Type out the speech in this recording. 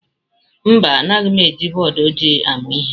Mba Anaghị m eji bọọdụ ojii amụ ihe.